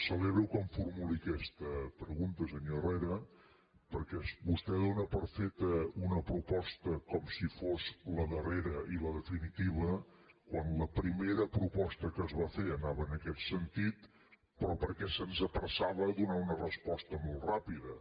celebro que em formuli aquesta pregunta senyor herrera perquè vostè dóna per feta una proposta com si fos la darrera i la definitiva quan la primera proposta que es va fer anava en aquest sentit però perquè se’ns apressava a donar una resposta molt ràpida